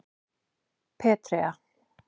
Petrea